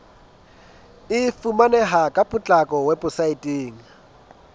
e fumaneha ka potlako weposaeteng